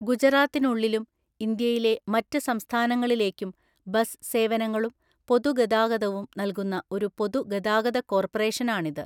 ഗുജറാത്തിനുള്ളിലും ഇന്ത്യയിലെ മറ്റ് സംസ്ഥാനങ്ങളിലേക്കും ബസ് സേവനങ്ങളും പൊതുഗതാഗതവും നൽകുന്ന ഒരു പൊതുഗതാഗത കോർപ്പറേഷനാണിത്.